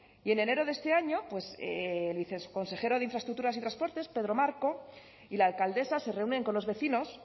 y en enero de este año el viceconsejero de infraestructuras y transportes pedro marco y la alcaldesa se reúnen con los vecinos